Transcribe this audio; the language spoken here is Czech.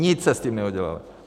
Nic jste s tím neudělali.